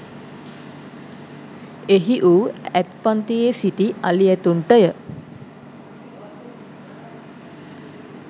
එහි වූ ඇත්පන්තියේ සිටි අලි ඇතුන්ටය.